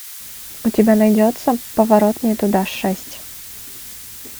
у тебя найдется поворот не туда шесть